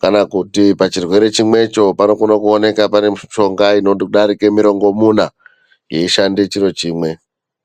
kana kuti pachirwere chimwecho panokoneka kuwanikwa pane mushonga inodarika mirongomuna yeishanda chiro chimwe.